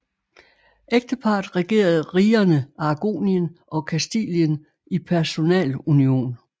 Ægteparret regerede rigerne Aragonien og Kastilien i personalunion